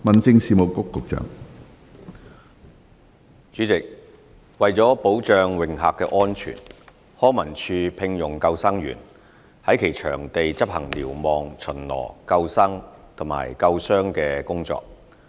主席，為保障泳客安全，康文署聘用救生員在其場地執行瞭望、巡邏、救生和救傷等工作。